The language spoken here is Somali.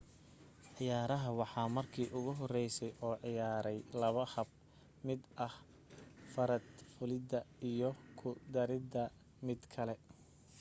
ciyaaraha waxaa marka ugu horeysay oo ciyaaray laba hab mid ah farad fulida iyo ku darida mid kale